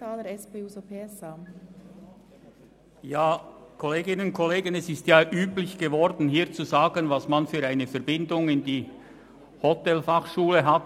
Es ist üblich geworden, hier zu sagen, welche Verbindung man zur Hotelfachschule hat.